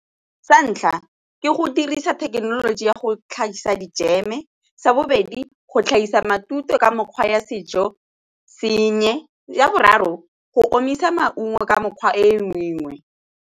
Sa ntlha ke go dirisa thekenoloji ya go tlhagisa dijeme. Sa bobedi, go tlhagisa matute ka mokgwa ya sejo sengwe. Sa boraro, go omisa maungo ka mokgwa e mengwe.